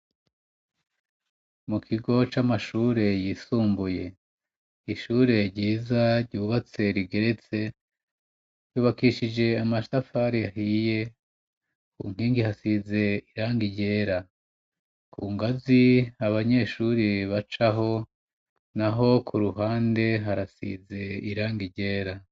Mu kigo c'amashure yisumbuye, ishure ryiza ryubatse rigeretse yubakishije amatafari ahiye ku nkingi hasize irangi ryera, ku ngazi abanyeshuri bacaho naho ku ruhande harasize irangi ryera.